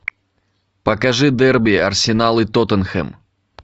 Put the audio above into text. покажи дерби арсенал и тоттенхэм